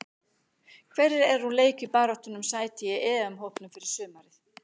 Hverjir eru úr leik í baráttunni um sæti í EM-hópnum fyrir sumarið?